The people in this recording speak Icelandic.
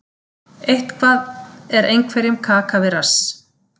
Eitthvað er einhverjum kaka við rass